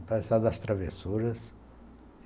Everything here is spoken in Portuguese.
das travessuras.